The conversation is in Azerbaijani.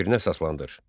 Fikrinə əsaslandır.